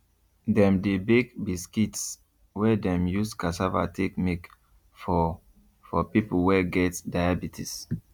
dem dey bake biscuits wey dem use cassava take make for for people wey get diabetes